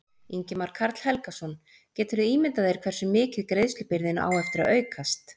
Ingimar Karl Helgason: Geturðu ímyndað þér hversu mikið greiðslubyrðin á eftir að aukast?